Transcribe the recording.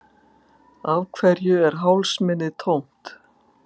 Af hverju er hálsmenið tómt?